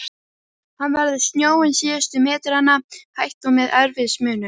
Hann veður snjóinn síðustu metrana, hægt, og með erfiðismunum.